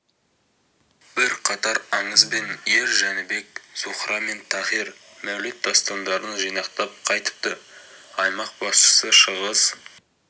бірқатар аңыз бен ер жәнібек зухра мен тахир мәулет дастандарын жинақтап қайтыпты аймақ басшысы шығыс